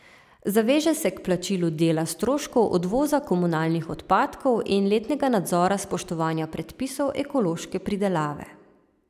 Zaveže se k plačilu dela stroškov odvoza komunalnih odpadkov in letnega nadzora spoštovanja predpisov ekološke pridelave.